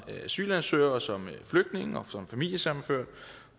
asylansøger og som flygtning og som familiesammenført